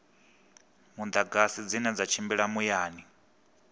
mudagasi dzine dza tshimbila muyani